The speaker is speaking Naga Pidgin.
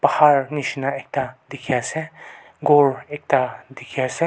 nishena ekta dikhe ase ghor ekta dikhi ase.